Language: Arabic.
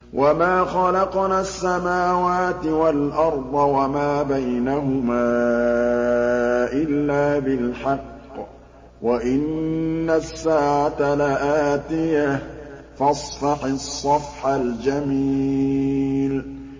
وَمَا خَلَقْنَا السَّمَاوَاتِ وَالْأَرْضَ وَمَا بَيْنَهُمَا إِلَّا بِالْحَقِّ ۗ وَإِنَّ السَّاعَةَ لَآتِيَةٌ ۖ فَاصْفَحِ الصَّفْحَ الْجَمِيلَ